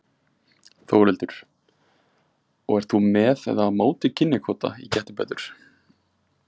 Þórhildur: Og ert þú með eða á móti kynjakvóta í Gettu betur?